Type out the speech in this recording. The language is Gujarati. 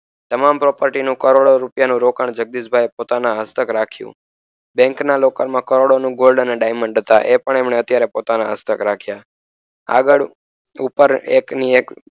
તમામ property કરોડો રૂપિયાનું રોકાણ જગદીશભાઇએ પોતાના હસ્તક રાખ્યુ બેન્ક લોકરમાં કરોડોનું gold નું diamond હતા એ પણ એમણે અત્યારે પોતાના હસ્તક રાખ્યા આગળ ઉપર એકની એક